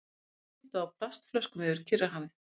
Sigldu á plastflöskum yfir Kyrrahafið